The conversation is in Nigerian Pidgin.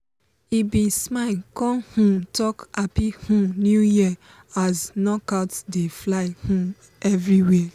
he bin smile con um talk "happy um new year" as knockout dey fly um everiwhere.